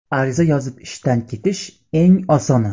Ariza yozib ishdan ketish eng osoni.